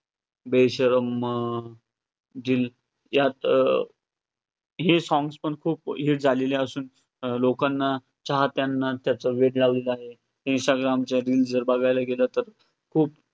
'बेशरम' अं यात अं हे songs पण खूप hit झालेलं असून, लोकांना चाहत्यांना त्याच वेड लावलेलं आहे. इन्स्टाग्रामच्या reels जर बघायला गेलं तर खूप खूप